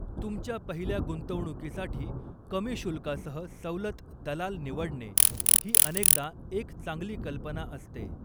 तुमच्या पहिल्या गुंतवणुकीसाठी कमी शुल्कासह सवलत दलाल निवडणे ही अनेकदा एक चांगली कल्पना असते.